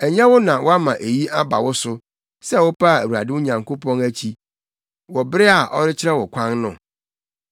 Ɛnyɛ wo na woama eyi aba wo so sɛ wopaa Awurade wo Nyankopɔn akyi, wɔ bere a ɔrekyerɛ wo kwan no?